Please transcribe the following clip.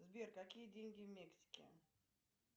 сбер какие деньги в мексике